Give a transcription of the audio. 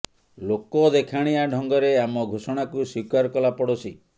ଲୋକ ଦେଖାଣିଆ ଢ଼ଙ୍ଗରେ ଆମ ଘୋଷଣାକୁ ସ୍ୱୀକାର କଲା ପଡ଼ୋଶୀ